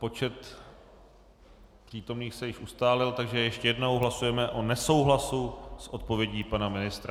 Počet přítomných se již ustálil, takže ještě jednou - hlasujeme o nesouhlasu s odpovědí pana ministra.